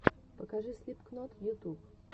покажи слипкнот ютюб